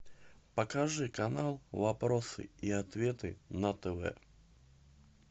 покажи канал вопросы и ответы на тв